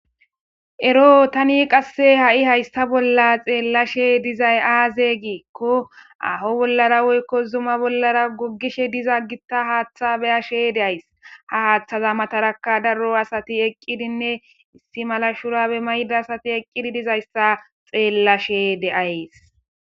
Eroo thani ha7i qassi hayssa bolla xeellashee dizay aazee giikko aafo bollara woykko zuma bollara goggishe diza giththa haaththaa be7ashee de7ays; ha haaththazaa matharakka daro asathi eqqidinne issi mala shuraabe mayida asathi eqqidi dizayssa xeellashee de7ays.